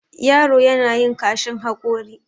yaro yana yin kashin haƙori